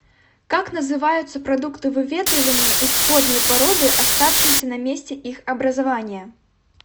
как называются продукты выветривания исходной породы оставшиеся на месте их образования